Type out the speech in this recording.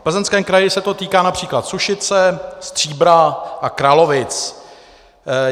V Plzeňském kraji se to týká například Sušice, Stříbra a Kralovic.